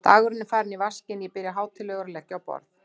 Dagurinn er farinn í vaskinn, ég byrja hátíðlegur að leggja á borð.